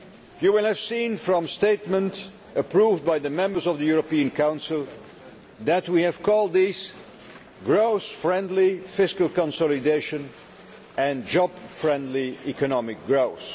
You will have seen from the statement approved by the members of the European Council that we have called this growth friendly' fiscal consolidation and job friendly economic growth'.